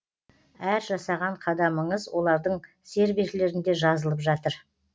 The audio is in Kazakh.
әр жасаған қадамыңыз олардың серверлерінде жазылып жатыр